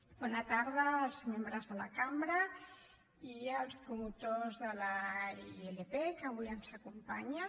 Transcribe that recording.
bona tarda als membres de la cambra i als promotors de la ilp que avui ens acompanyen